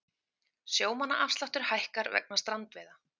Sjómannaafsláttur hækkar vegna strandveiða